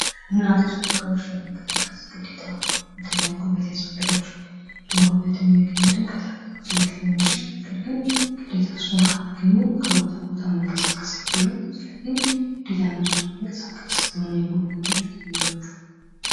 ተሽከርካሪዎች ለመንቀሳቀስ ግዴታ ጉልበት ያስፈልጋቸዋል እና ይሄን ጉልበት የሚያገኙት ከተፈጥሮ ዘይት ሊሆን ይችላል:: ነገር ግን ግዴታ እሱን ካላገኙ ከቦታ ቦታ መንቀሳቀስ አይችሉም ስለዚህ ግዴታ እነሱ ለመንቀሳቀስ የሆነ የጉልበት ምንጭ ያስፈልግቸዋል::